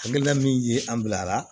Hakilina min ye an bila a la